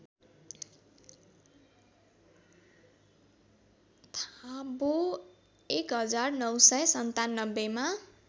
थाबो १९९७ मा